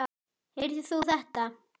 Heyrðir þú þetta?